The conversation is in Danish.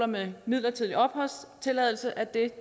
med midlertidig opholdstilladelse